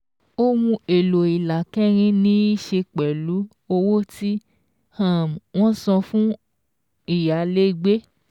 Ohun èlò ìlà kẹrin ní í ṣe pẹ̀lú owó tí um wọ́n san fún fún ìyálégbé